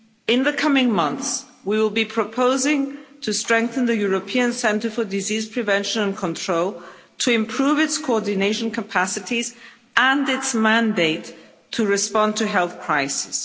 In the coming months we will be proposing to strengthen the European Centre for Disease Prevention and Control, to improve its coordination capacities and its mandate to respond to health crises.